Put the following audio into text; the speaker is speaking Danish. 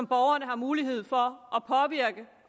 borgerne har mulighed for